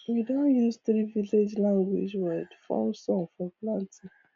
we don use three village language word form song for planting